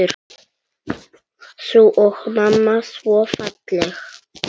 Þú og mamma svo falleg.